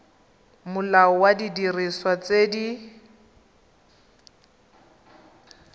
molao wa didiriswa tse di